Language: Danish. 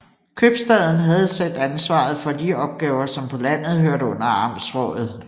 Købstaden havde selv ansvaret for de opgaver som på landet hørte under amtsrådet